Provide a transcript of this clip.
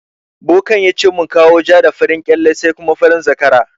Bokan yace mu kawo ja da farin kyalle sai kuma farin zakara.